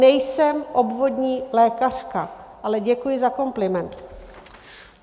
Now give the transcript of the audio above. Nejsem obvodní lékařka, ale děkuji za kompliment.